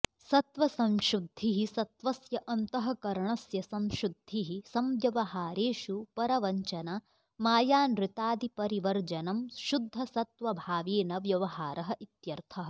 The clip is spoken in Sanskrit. सत्त्वसंशुद्धिः सत्त्वस्य अन्तःकरणस्य संशुद्धिः संव्यवहारेषु परवञ्चनामायानृतादिपरिवर्जनं शुद्धसत्त्वभावेन व्यवहारः इत्यर्थः